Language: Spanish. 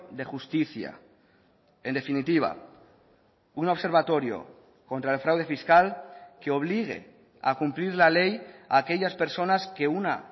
de justicia en definitiva un observatorio contra el fraude fiscal que obligue a cumplir la ley a aquellas personas que una